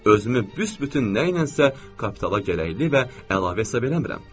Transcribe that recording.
Özümü büsbütün nəyləsə kapitala gərəksiz və əlavə hesab eləmirəm.